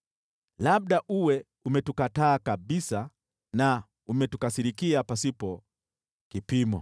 isipokuwa uwe umetukataa kabisa na umetukasirikia pasipo kipimo.